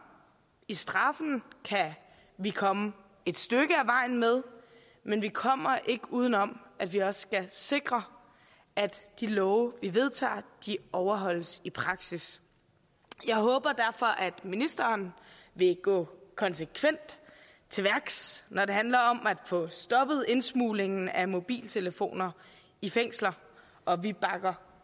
i straffen kan vi komme et stykke ad vejen med men vi kommer ikke uden om at vi også skal sikre at de love vi vedtager overholdes i praksis jeg håber derfor at ministeren vil gå konsekvent til værks når det handler om at få stoppet indsmuglingen af mobiltelefoner i fængsler og vi bakker